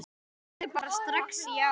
Ég sagði bara strax já.